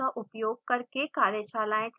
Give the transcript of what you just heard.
spoken tutorials का उपयोग करके कार्यशालाएं चलाती है